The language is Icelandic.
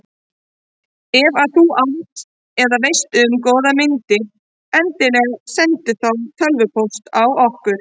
Ef að þú átt eða veist um góðar myndir endilega sendu þá tölvupóst á okkur.